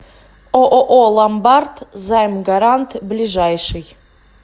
ооо ломбард займгарант ближайший